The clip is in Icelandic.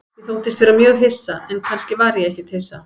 Ég þóttist vera mjög hissa, en kannski var ég ekkert hissa.